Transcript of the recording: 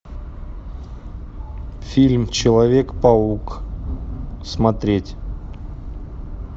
фильм человек паук смотреть